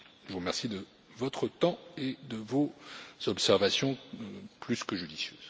Je vous remercie de votre temps et de vos observations plus que judicieuses.